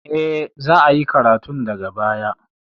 E, za a yi karatun daga baya.